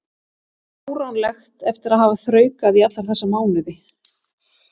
Það væri fáránlegt eftir að hafa þraukað í alla þessa mánuði.